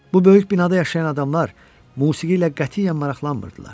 Bu böyük binada yaşayan adamlar musiqi ilə qətiyyən maraqlanmırdılar.